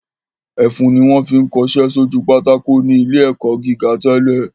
Ẹfun ni wọ́n fi ń kọṣẹ́ sójú pátákó ní ilé ẹ̀kọ́ gíga tẹ́lẹ̀